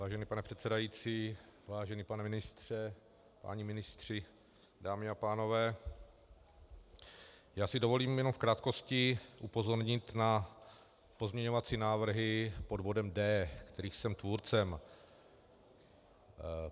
Vážený pane předsedající, vážený pane ministře, páni ministři, dámy a pánové, já si dovolím jenom v krátkosti upozornit na pozměňovací návrhy pod bodem D, kterých jsem tvůrcem.